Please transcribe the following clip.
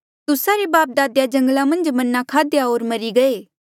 तुस्सा रे बापदादे जंगला मन्झ मन्ना खाध्या होर मरी गये